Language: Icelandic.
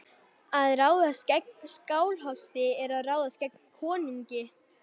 Að ráðast gegn Skálholti er að ráðast gegn konungi.